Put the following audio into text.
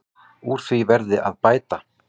Úr því verði að bæta.